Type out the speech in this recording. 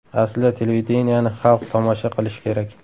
Aslida televideniyeni xalq tomosha qilish kerak.